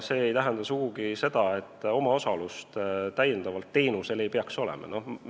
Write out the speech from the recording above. See ei tähenda aga sugugi seda, et teenusel ei peaks olema ka omaosalust.